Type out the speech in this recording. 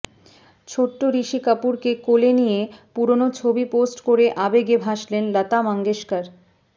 ছোট্ট ঋষি কাপুরকে কোলে নিয়ে পুরনো ছবি পোস্ট করে আবেগে ভাসলেন লতা মঙ্গেশকর